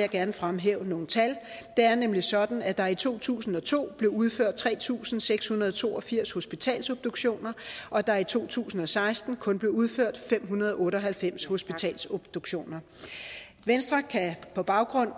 jeg gerne fremhæve nogle tal det er nemlig sådan at der i to tusind og to blev udført tre tusind seks hundrede og to og firs hospitalsobduktioner og at der i to tusind og seksten kun blev udført fem hundrede og otte og halvfems hospitalsobduktioner venstre kan på baggrund